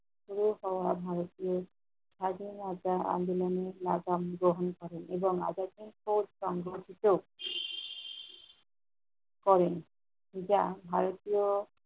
তিনিসহ ভারতীয় স্বাধীনতার আন্দলনে নেতাম গ্রহণ করেন এবং আদর্শ ও সংগ্রহীত করেন। যা ভারতীয়